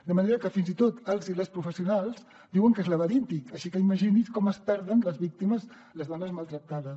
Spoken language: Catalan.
de manera que fins i tot els i les professionals diuen que és laberíntic així que imagini’s com es perden les víctimes les dones maltractades